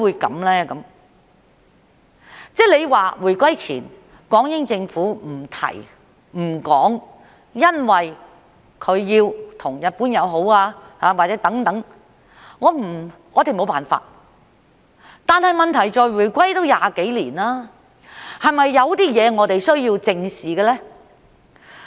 如果說回歸前港英政府不提、不說，因為它要與日本友好，我們沒有辦法，但問題是回歸已經20多年，是否有些事情我們是需要正視的呢？